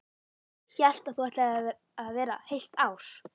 Hélt að þú ætlaðir að vera heilt ár.